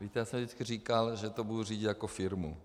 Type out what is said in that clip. Víte, já jsem vždycky říkal, že to budu řídit jako firmu.